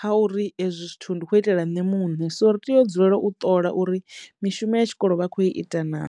ha uri ezwi zwithu ndi khou itela nṋe muṋe so ri tea u dzulela u ṱola uri mishumo ya tshikolo vha kho ita naa.